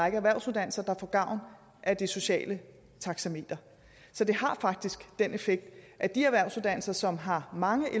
række erhvervsuddannelser der får gavn af det sociale taxameter så det har faktisk den effekt at de erhvervsuddannelser som har mange